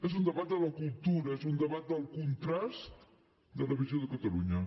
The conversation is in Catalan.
és un debat de la cultura és un debat del contrast de la visió de catalunya